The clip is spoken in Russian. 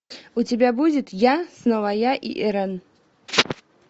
у тебя будет я снова я и ирэн